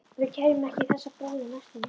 Við kæmum ekki í þessa búð á næstunni.